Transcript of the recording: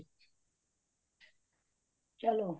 ਚਲੋ